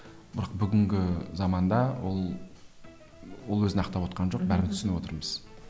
бірақ бүгінгі заманда ол ол өзін ақтап отқан жоқ бәрін түсініп отырмыз